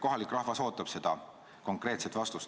Kohalik rahvas ootab konkreetset vastust.